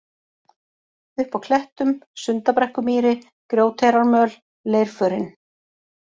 Upp á klettum, Sundabrekkumýri, Grjóteyrarmöl, Leirförin